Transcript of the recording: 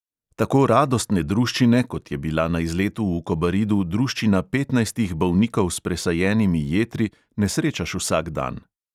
Tako radostne druščine, kot je bila na izletu v kobaridu druščina petnajstih bolnikov s presajenimi jetri, ne srečaš vsak dan.